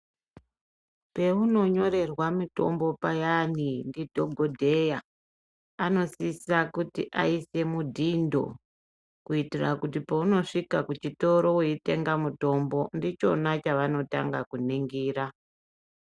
Peunonyorerwa mitombo payani ndidhokodheya, anosisa kuisa mudhindo kuitira paunosvika kuchitoro weitenga mutombo ndichona chavanotanga kuningira.